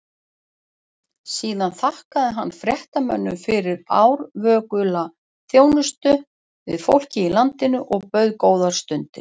Síðan þakkaði hann fréttamönnum fyrir árvökula þjónustu við fólkið í landinu og bauð góðar stundir.